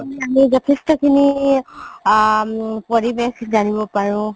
যথেষ্ট খিনি আ পৰিবেশ জানিব পাৰো